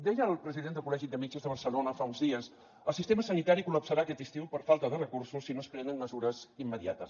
deia el president del col·legi de metges de barcelona fa uns dies el sistema sanitari col·lapsarà aquest estiu per falta de recursos si no es prenen mesures immediates